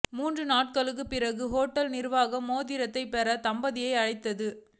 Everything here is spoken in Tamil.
மூன்று நாட்களுக்கு பின்னர் ஹோட்டல் நிர்வாகம் மோதிரத்தை பெற தம்பதியை அழைத்தது